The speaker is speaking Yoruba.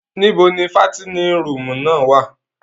Nìbó ni fàtinin rùumù náa wa?